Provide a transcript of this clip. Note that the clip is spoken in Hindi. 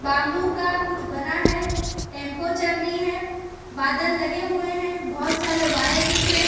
बैंबू का कुछ बना है टेंपो चल रही है बादल लगे हुए हैं बहुत सारे वायर दिख रहे हैं।